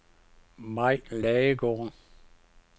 Mai Ladegaard